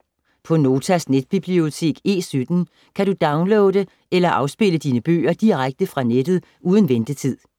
På Notas netbibliotek E17 kan du downloade eller afspille dine bøger direkte fra nettet uden ventetid.